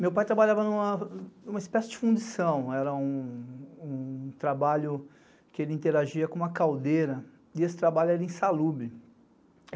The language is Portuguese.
Meu pai trabalhava numa espécie de fundição, era um trabalho que ele interagia com uma caldeira, e esse trabalho era insalubre